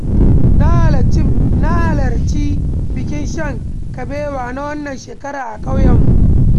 Na halarci bikin shan kabewa na wannan shekarar a ƙauyenmu.